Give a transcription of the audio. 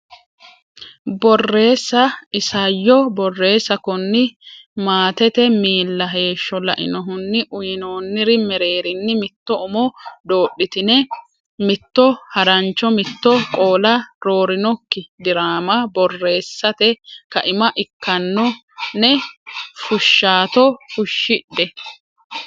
Borreessa Isayyo Borreessa Kooni maatete miilla heeshsho lainohunni uynoonniri mereerinni mitto umo doodhitine mitto harancho mitto qoola roorinokki diraama borreessate kaima ikkano ne fushshaato fushshidhe.